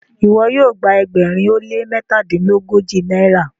iwọ yoo gba ẹgbẹrin o le mẹtadilogoji náírà?